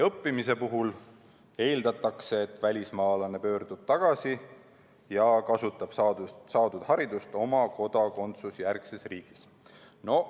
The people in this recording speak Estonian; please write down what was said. Õppimise puhul eeldatakse, et välismaalane pöördub tagasi ja kasutab saadud haridust oma kodakondsusjärgses riigis.